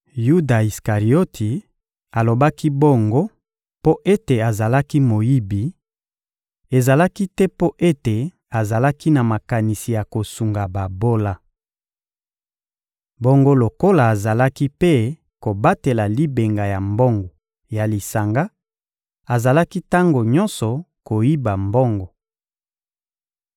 Yuda Isikarioti alobaki bongo mpo ete azalaki moyibi; ezalaki te mpo ete azalaki na makanisi ya kosunga babola. Bongo lokola azalaki mpe kobatela libenga ya mbongo ya lisanga, azalaki tango nyonso koyiba mbongo.